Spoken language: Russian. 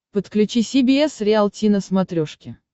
подключи си би эс риалти на смотрешке